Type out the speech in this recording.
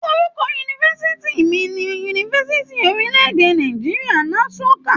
Orúkọ yunifásítì mí ní Yunifásítì orilẹ-èdè Nàìjíríà, Nssuka.